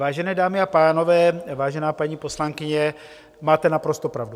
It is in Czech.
Vážené dámy a pánové, vážená paní poslankyně, máte naprosto pravdu.